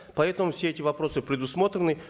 поэтому все эти вопросы предусмотрены